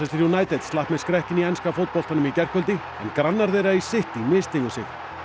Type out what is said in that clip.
United slapp með skrekkinn í enska fótboltanum í gærkvöldi en grannar þeirra í City misstigu sig